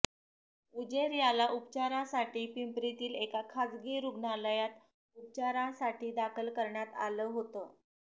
उजेर याला उपचारासाठी पिंपरीतील एका खासगी रुग्णालयात उपचारासाठी दाखल करण्यात आला होते